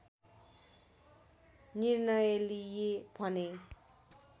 निर्णय लिए भने